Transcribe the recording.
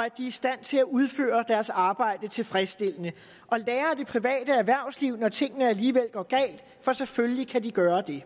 er i stand til at udføre deres arbejde tilfredsstillende og lære af det private erhvervsliv når tingene alligevel går galt for selvfølgelig kan vi gøre det